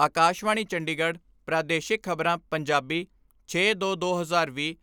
ਆਕਾਸ਼ਵਾਣੀ ਚੰਡੀਗੜ੍ਹ ਪ੍ਰਾਦੇਸ਼ਿਕ ਖਬਰਾਂ, ਪੰਜਾਬੀ ਛੇ ਦੋ ਦੋ ਹਜ਼ਾਰ ਵੀਹ,